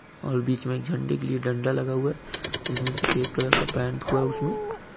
और बीच मे झंडे के लिए डंडा लगा हुआ है। जिसमे सफेद कलर का पेंट हुआ है उस मे --